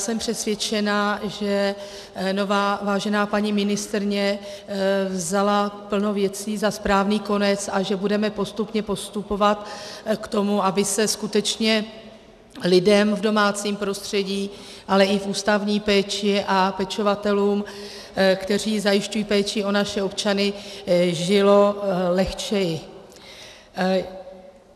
Jsem přesvědčená, že nová vážená paní ministryně vzala plno věcí za správný konec a že budeme postupně postupovat k tomu, aby se skutečně lidem v domácím prostředí, ale i v ústavní péči a pečovatelům, kteří zajišťují péči o naše občany, žilo lehčeji.